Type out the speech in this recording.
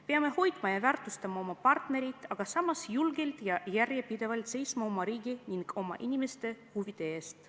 Peame hoidma ja väärtustama oma partnerit, samas julgelt ja järjepidevalt seisma oma riigi ning oma inimeste huvide eest.